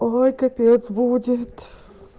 ой капец будет